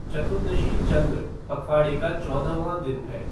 चतुर्दशी चंद्र पखवाड़े का चौदहवाँ दिन है।